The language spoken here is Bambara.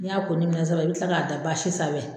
N'i y'a ko ni minɛ saba i bɛ kila k'a da baasi sanfɛ.